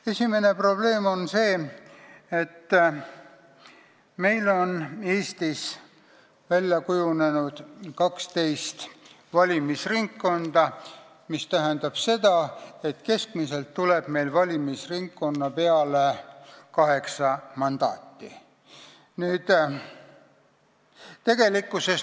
Esimene probleem on see, et Eestis on välja kujunenud 12 valimisringkonda, mis tähendab seda, et keskmiselt tuleb valimisringkonna peale 8 mandaati.